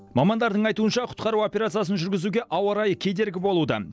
мамандардың айтуынша құтқару операциясын жүргізуге ауа райы кедергі болуда